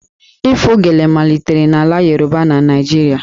Ịfụ gele malitere na ala Yoruba na Naịjirịa